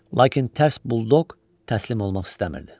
Lakin tərs buldoq təslim olmaq istəmirdi.